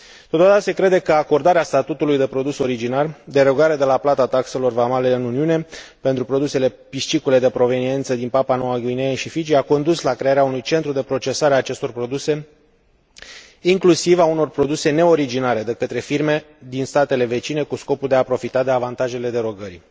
Totodată, se crede că acordarea statutului de produs originar, derogare de la plata taxelor vamale în Uniune pentru produsele piscicole de proveniență din Papua Noua Guinee și Fiji a condus la crearea unui centru de procesare a acestor produse, inclusiv a unor produse neoriginare, de către firme din statele vecine, cu scopul de a profita de avantajele derogării.